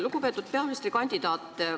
Lugupeetud peaministrikandidaat!